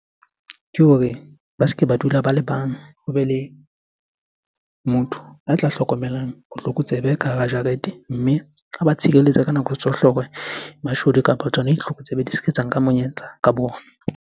Ke hore ba se ke ba dula ba le bang, hobe le motho a tla hlokomelang botlokotsebe ka hara jarete. Mme a ba tshireletse ka nako tsohle hore mashodu kapa tsona ditlokotsebe di se ke tsa nka monyetla ka bona.